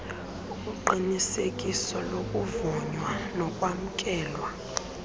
uqinisekiso lokuvunywa nokwamkelwa